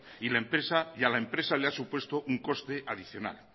y a la empresa le ha supuesto un coste adicional